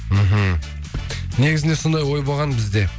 мхм негізінде сондай ой болған бізде